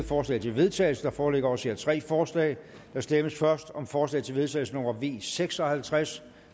forslag til vedtagelse der foreligger også her tre forslag der stemmes først om forslag til vedtagelse nummer v seks og halvtreds